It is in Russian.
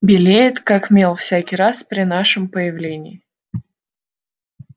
белеет как мел всякий раз при нашем появлении